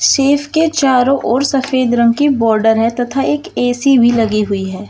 Safe के चारों ओर सफेद रंग की बॉर्डर है तथा एक ऐ_सी भी लगी हुई है।